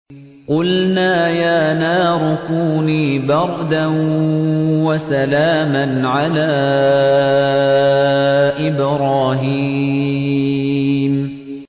قُلْنَا يَا نَارُ كُونِي بَرْدًا وَسَلَامًا عَلَىٰ إِبْرَاهِيمَ